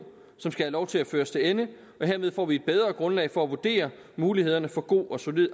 som skal have lov til at føres til ende og herved får vi et bedre grundlag for at kunne vurdere mulighederne for god og solid